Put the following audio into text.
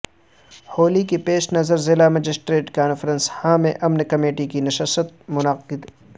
ہولی کے پیش نظر ضلع مجسٹریٹ کانفرنس ہال میں امن کمیٹی کی نشست منعقد